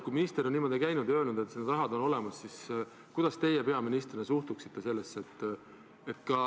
Kui minister on niimoodi käinud ja öelnud, et see raha on olemas, siis kuidas teie peaministrina sellesse suhtute?